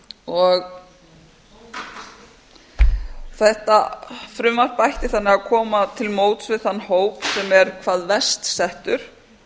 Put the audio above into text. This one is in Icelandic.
skuldara þetta frumvarp ætti þannig að koma til móts við þann hóp sem er hvað verst settur